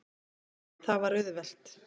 Það var auðvelt.